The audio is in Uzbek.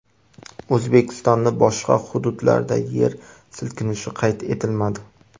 O‘zbekistonning boshqa hududlarida yer silkinishi qayd etilmadi.